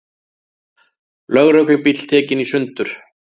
Lögreglubíll tekinn í sundur